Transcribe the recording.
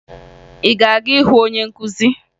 Ị ga-aga hụ onye nkụzi?